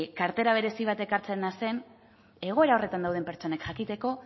kartera berezi bat ekartzea zen egoera horretan dauden pertsonek jakiteko